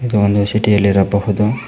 ಇದು ಒಂದು ಸಿಟಿ ಅಲ್ಲಿ ಇರಬಹುದು.